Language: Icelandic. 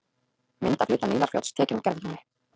Mynd af hluta Nílarfljóts, tekin úr gervitungli.